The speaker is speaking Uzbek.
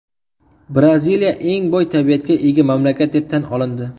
Braziliya eng boy tabiatga ega mamlakat deb tan olindi.